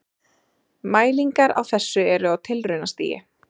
Mælingar á þessu eru á tilraunastigi.